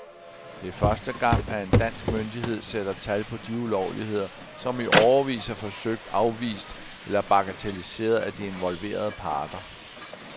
Det er første gang, at en dansk myndighed sætter tal på de ulovligheder, som i årevis er forsøgt afvist eller bagatelliseret af de involverede parter.